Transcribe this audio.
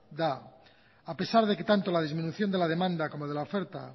da a pesar de que tanto la disminución de la demanda como de la oferta